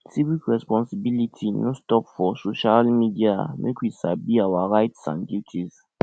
civic responsibility no stop for social media make we sabi our rights and duties